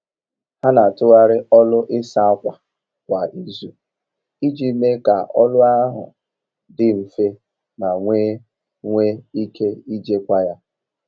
Ha n'atụgharị ọlụ ịsa ákwà kwa izu iji mee ka ọlụ ahụ dị nfe ma nwe nwe ike ijikwa ya.